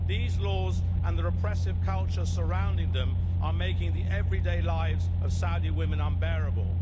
These laws and the repressive culture surrounding them are making the everyday lives of Saudi women unbearable.